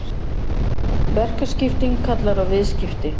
Verkaskipting kallar á viðskipti.